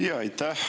Aitäh!